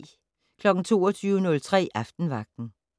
22:03: Aftenvagten